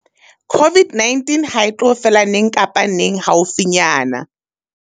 COVID-19 hae tlo fela neng kapa neng haufinyana.